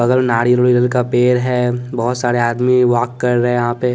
बगल नारियल उलियल का पेड़ है बहुत सारे आदमी वाक कर रहे हैं यहाँ पे--